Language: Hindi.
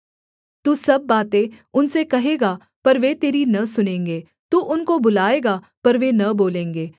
तू सब बातें उनसे कहेगा पर वे तेरी न सुनेंगे तू उनको बुलाएगा पर वे न बोलेंगे